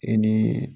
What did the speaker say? E nii